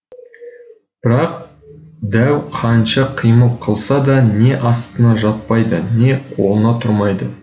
бірақ дәу қанша қимыл қылса да не астына жатпайды не қолына тұрмайды